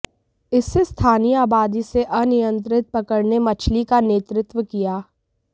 इस से स्थानीय आबादी से अनियंत्रित पकड़ने मछली का नेतृत्व किया